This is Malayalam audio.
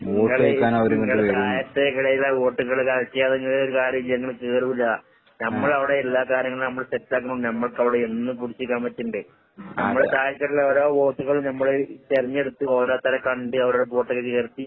ഇങ്ങള് ഇങ്ങള് താഴത്തേക്കിടയിലെ